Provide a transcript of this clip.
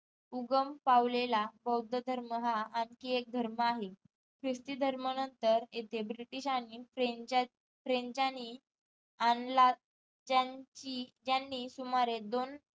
उगम पावलेला बौद्ध धर्म हा आणखी एक धर्म आहे क्रिशती धर्मा नंतर इथे ब्रिटिश आणि फ्रेंच फ्रेंचांनी आणला ज्यांची ज्यांनी सुमारे दोन